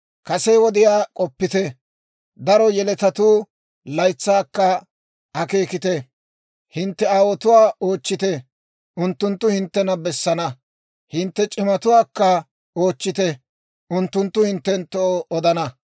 Kase wodiyaa k'oppite; daro yeletatuu laytsaakka akeekite. Hintte aawotuwaa oochchite; unttunttu hinttena bessana. Hintte c'imatuwaakka oochchite; unttunttu hinttenttoo odana.